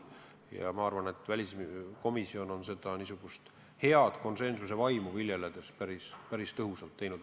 Ja ma arvan, et väliskomisjon on niisugust tööd head konsensuse vaimu silmas pidades päris tõhusalt teinud.